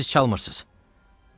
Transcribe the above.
Bunu siz çalmırsız.